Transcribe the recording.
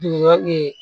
Dunɲan